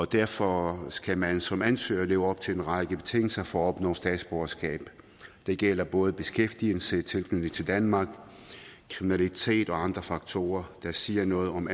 derfor skal man som ansøger leve op til en række betingelser for at opnå statsborgerskab det gælder både beskæftigelse tilknytning til danmark fravær af kriminalitet og andre faktorer der siger noget om